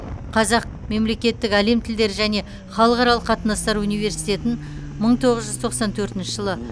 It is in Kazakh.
қазақ мемлекеттік әлем тілдері және халықаралық қатынастар университетін мың тоғыз жүз тоқсан төртінші жылы